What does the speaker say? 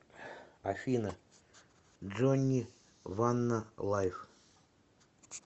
афина джонни ванна лайв